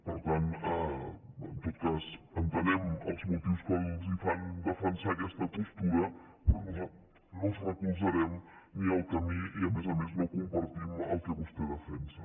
per tant en tot cas entenem els motius que els fan defensar aquesta postura però nosaltres no els recolzarem ni el camí i a més a més no compartim el que vostè defensa